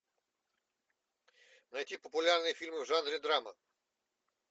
найти популярные фильмы в жанре драма